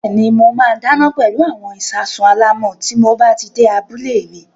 Bẹ́ẹ̀ni, mo máa dáná pẹlú àwọn ìṣasùn alámọ̀ tí mob á ti dé abúlé mi.